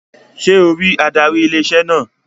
Sé o rí adarí ilé-iṣẹ́ náà?